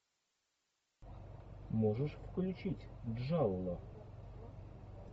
можешь включить джалло